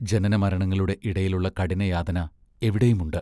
ജനനമരണങ്ങളുടെ ഇടയിലുള്ള കഠിനയാതന എവിടെയുമുണ്ട്.